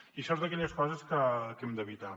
i això és d’aquelles coses que hem d’evitar